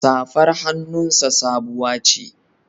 Safar hannunsa sabuwa ce.